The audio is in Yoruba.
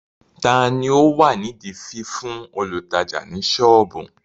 Tani ó wà nídi fífún olùtajà ní soobu?